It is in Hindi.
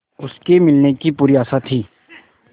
उसके मिलने की पूरी आशा थी